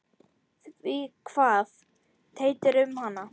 Því kvað Teitur um hana